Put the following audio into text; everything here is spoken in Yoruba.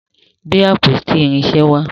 gbé àpótí irinṣẹ wà.